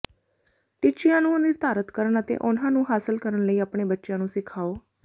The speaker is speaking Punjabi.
ਟੀਚਿਆਂ ਨੂੰ ਨਿਰਧਾਰਤ ਕਰਨ ਅਤੇ ਉਨ੍ਹਾਂ ਨੂੰ ਹਾਸਲ ਕਰਨ ਲਈ ਆਪਣੇ ਬੱਚੇ ਨੂੰ ਸਿਖਾਓ